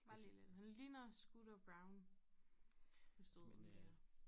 Bare lige lidt han ligner Scooter Braun hvis du ved hvem det er